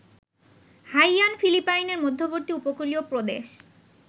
Haiyan ফিলিপাইনের মধ্যবর্তী উপকূলীয় প্রদেশ